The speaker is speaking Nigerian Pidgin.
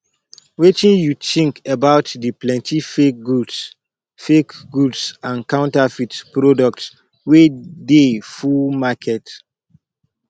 wetin you think about di plenty fake goods fake goods and counterfeit products wey dey full market